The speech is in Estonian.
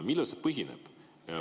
Millel see põhineb?